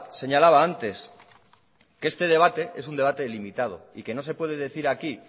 señalaba antes que este debate es un debate delimitado y que no se puede decir aquí